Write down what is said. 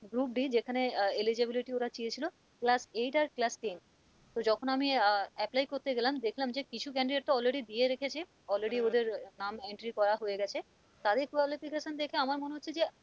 Group d যেখানে আহ eligibility ওরা চেয়েছিল class eight আর class ten তো যখন আমি আহ apply করতে গেলাম দেখলাম যে কিছু candidate তো already দিয়ে রেখেছে already ওদের নাম entry করা হয়েগেছে তাদের qualification দেখা আমার মনে হচ্ছে যে,